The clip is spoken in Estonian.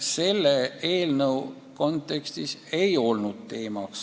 Selle eelnõu kontekstis see ei olnud teemaks.